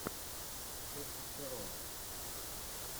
тестостерон